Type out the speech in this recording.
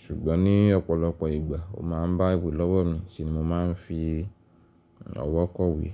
Ṣùgbọ́n ní ọ̀pọ̀lọpọ̀ ìgbà ó ma ń bá ìwé lọ́wọ́ mi se ni mo máa ń fi ọwọ́ kọ̀wé.